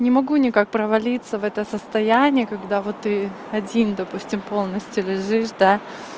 не могу никак провалиться в это состояние когда вот и один допустим полностью лежишь да